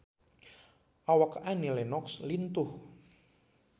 Awak Annie Lenox lintuh